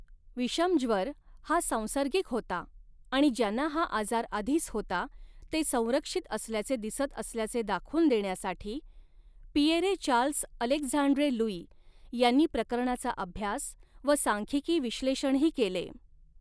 विषमज्वर हा सांसर्गिक होता आणि ज्यांना हा आजार आधीच होता, ते संरक्षित असल्याचे दिसत असल्याचे दाखवून देण्यासाठी, पिएरे चार्ल्स अलेक्झांड्रे लुई यांनी प्रकरणांचा अभ्यास व सांख्यिकी विश्लेषणही केले.